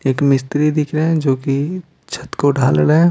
एक मिस्त्री दिख रहे हैं जो कि छत को ढाल रहे हैं।